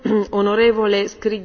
Pani Przewodnicząca!